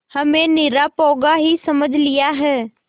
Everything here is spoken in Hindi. हमें निरा पोंगा ही समझ लिया है